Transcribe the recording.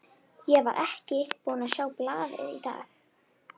Ég var ekki búinn að sjá blaðið í dag.